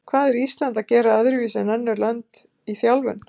Hvað er Ísland að gera öðruvísi en önnur lönd í þjálfun?